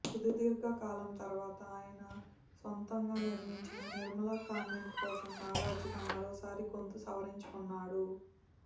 సుదీర్ఘకాలం తర్వాత ఆయన సొంతంగా నిర్మించిన నిర్మలా కాన్వెంట్ కోసం నాగార్జున మరోసారి గొంతు సవరించుకొన్నాడు